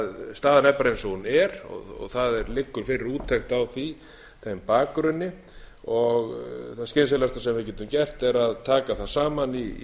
staðan er bara eins og hún er og það liggur fyrir úttekt á því þeim bakgrunni það skynsamlegasta sem við getum gert er að taka það saman í